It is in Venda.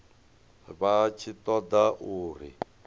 vha tshi ṱo ḓa uri